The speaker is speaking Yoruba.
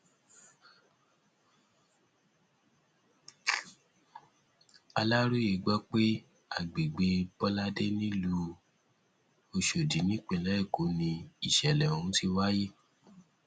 aláròye gbọ pé àgbègbè bọládé nílùú ọṣọdì nípínlẹ èkó ni ìṣẹlẹ ọhún ti wáyé